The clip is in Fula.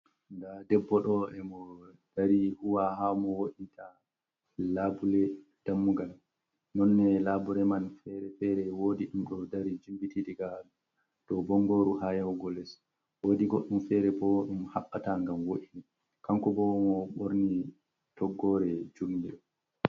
Nda debbo ɗo e mo dari huwa ha mo wointa labule dammugal nonne labure man fere-fere wodi ɗum ɗo dari jimbiti diga dou bongoru ha yahugo les wodi goɗɗum fere bo ɗum haɓɓata gam wo’ii kanko bo mo ɓorni toggore jurgol.